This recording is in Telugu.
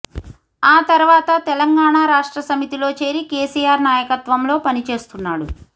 ఆ తర్వాత తెలంగాణ రాష్ట్ర సమితిలో చేరి కేసీఆర్ నాయకత్వంలో పనిచేస్తున్నాడు